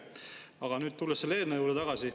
Aga nüüd tulen selle eelnõu juurde tagasi.